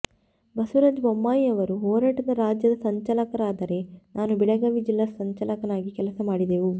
ಬಸವರಾಜ ಬೊಮ್ಮಾಯಿಯವರು ಹೋರಾಟದ ರಾಜ್ಯ ಸಂಚಾಲಕರಾದರೆ ನಾನು ಬೆಳಗಾವಿ ಜಿಲ್ಲಾ ಸಂಚಾಲಕನಾಗಿ ಕೆಲಸ ಮಾಡಿದೆವು